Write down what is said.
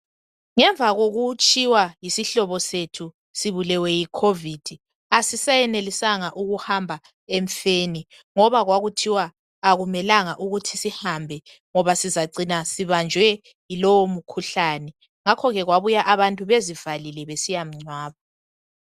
Ngemva kokutshiywa yisihlobo sethu sibulewe yikhovidi, asisayenelisanga ukuhamba emfeni, ngoba kwakuthiwa akumelanga ukuthi sihambe ngoba sizacina sibanjwe yilowo mkhuhlane. Ngakho ke kwabuya abantu bezivalile besiyamngcwaba.